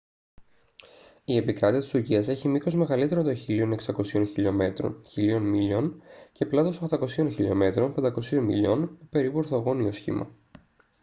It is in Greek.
η επικράτεια της τουρκίας έχει μήκος μεγαλύτερο των 1.600 χιλιομέτρων 1.000 μιλίων και πλάτος 800 χιλιομέτρων 500 μιλίων με περίπου ορθογώνιο σχήμα